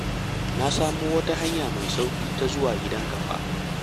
Na samo wata hanya mai sauƙi ta zuwa gidanka fa